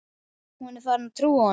Hún er farin að trúa honum.